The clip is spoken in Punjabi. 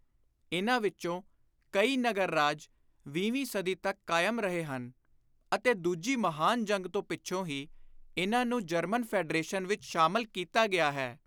ਇਨ੍ਹਾਂ ਵਿਚੋਂ ਕਈ ਨਗਰ ਰਾਜ ਵੀਹਵੀਂ ਸਦੀ ਤਕ ਕਾਇਮ ਰਹੇ ਹਨ ਅਤੇ ਦੂਜੀ ਮਹਾਨ ਜੰਗ ਤੋਂ ਪਿੱਛੋਂ ਹੀ ਇਨ੍ਹਾਂ ਨੂੰ ਜਰਮਨ ਫ਼ੈਡਰੇਸ਼ਨ ਵਿਚ ਸ਼ਾਮਲ ਕੀਤਾ ਗਿਆ ਹੈ।